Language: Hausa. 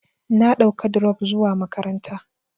Na ɗauka dirop zuwa makaranta.